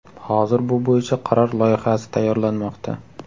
Hozir bu bo‘yicha qaror loyihasi tayyorlanmoqda.